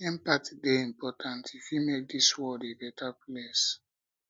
empathy dey important e fit make dis world a beta place